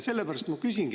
Sellepärast ma küsingi …